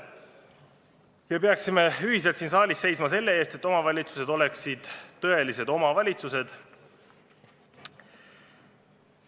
Me peaksime ühiselt siin saalis seisma selle eest, et omavalitsused oleksid tõelised oma valitsused.